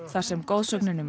þar sem goðsögnin um